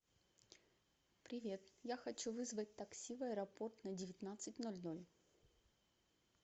привет я хочу вызвать такси в аэропорт на девятнадцать ноль ноль